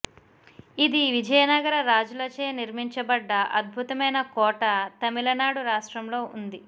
ఇది విజయనగర రాజులచే నిర్మించబడ్డ అద్భుతమైన కోట తమిళనాడు రాష్ట్రంలో వుంది